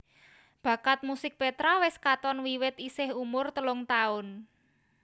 Bakat musik Petra wis katon wiwit isih umur telung taun